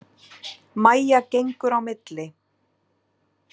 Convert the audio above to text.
Mæja gengur á milli.